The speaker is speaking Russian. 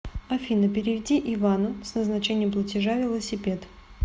афина переведи ивану с назначением платежа велосипед